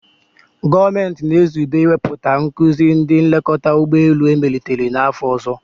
Gọọmenti na-ezube iwepụta nkuzi ndị nlekọta ụgbọ elu emelitere n'afọ ọzọ.